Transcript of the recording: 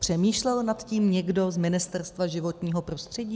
Přemýšlel nad tím někdo z Ministerstva životního prostředí?